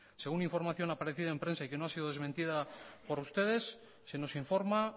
según información aparecida en prensa y que no ha sido desmentida por ustedes se nos informa